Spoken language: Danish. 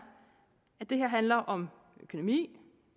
at det her handler om økonomi